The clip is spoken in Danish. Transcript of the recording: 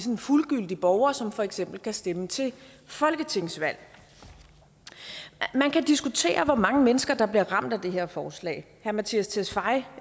en fuldgyldig borger som for eksempel kan stemme til folketingsvalg man kan diskutere hvor mange mennesker der bliver ramt af det her forslag herre mattias tesfaye